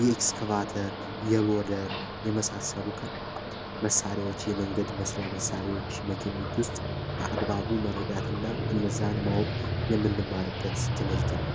የኤክስካቫተር የሎደር የመሳሰሉ ከባድ መሳሪያዎች የመንገድ መስሪያ መሣሪያዎች መኪኖች ውስጥ መረዳትና እነዛን ማወቅ የምንማርበት ትምህርት ነው።